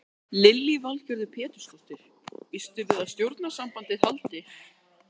Lillý Valgerður Pétursdóttir: Býstu við því að stjórnarsamstarfið haldi?